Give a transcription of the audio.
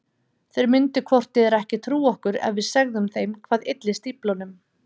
Þeir myndu hvort eð er ekki trúa okkur ef við segðum þeim hvað ylli stíflunum.